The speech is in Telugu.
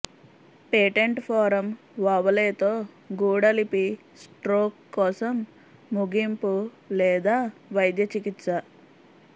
పేటెంట్ ఫోరం ఓవలేతో గూఢ లిపి స్ట్రోక్ కోసం ముగింపు లేదా వైద్య చికిత్స